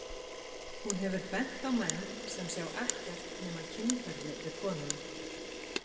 Hún hefur bent á menn sem sjá ekkert nema kynferði við konuna.